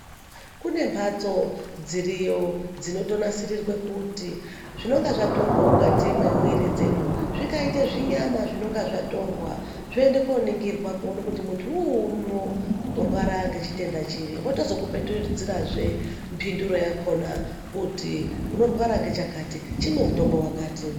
Kune mbatso dziriyo dzinotonasirirwa kuti zvinenge zvatorwa mukati memwiri dzedu zvingaite zvinyama zvinenge zvatorwa zvoenda kunoningirwa kuti muntu unouno unorwara ngechitenda chiri vozotokupetudzirazve mbindiro yakona kuti unorwara ngechakati chimwe mutombo wakati.